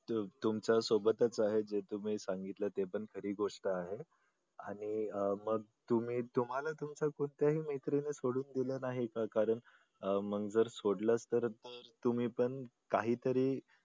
तुमच्या सोबतच आहे आणि जे तुम्ही सांगितलं ती खरी गोष्ट आहे. आणि अह मग तुम्ही तुम्हाला तुमच्या कोणत्याही मैत्रिणी सोडून दिलं नाही अशा प्रकारे मग तर सोडल असत त्याने तुम्ही पण काहीतरी